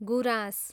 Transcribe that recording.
गुराँस